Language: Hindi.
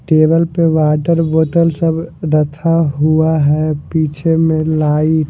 टेबल पर वाटर बोतल सब रथा हुआ है पीछे में लाइट --